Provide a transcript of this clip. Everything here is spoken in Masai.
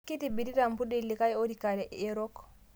Keitibirita lmpundi likai oorika yerok